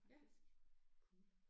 Ja cool